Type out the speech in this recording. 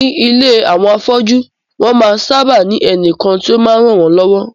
Ní ilé àwọn afọ́jú, wọ́n máa ń sábà ní ẹnìkan tí ó máa ń ràn wón lọ́wọ́